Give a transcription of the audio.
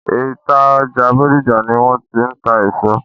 Ìta ọjà Bódìjà ni wọ́n ti ń ta èso.